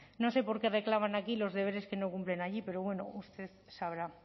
no sé por qué reclaman aquí los deberes que no cumplen allí pero bueno usted sabrá